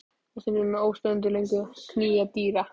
Það setur að mér óstöðvandi löngun að knýja dyra.